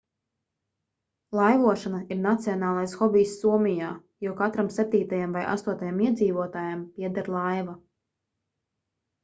laivošana ir nacionālais hobijs somijā jo katram septītajam vai astotajam iedzīvotājam pieder laiva